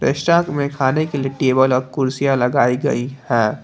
में खाने के लिए टेबल और कुर्सियां लगाई गई हैं।